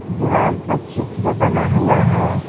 दीवाल पर चित्र बना हुआ है।